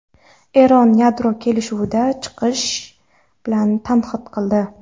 Eron yadro kelishuvidan chiqish bilan tahdid qildi.